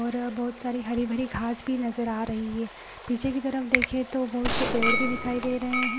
और बोहोत सारी हरी-भरी घास भी नजर आ रही है पीछे की तरफ देखे तो बोहोत से पेड़ भी दिखाई दे रहे हैं।